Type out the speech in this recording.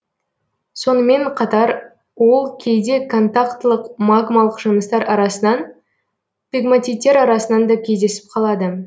сонымен қатар ол кейде контақтылық магмалық жыныстар арасынан пегматиттер арасынан да кездесіп қалады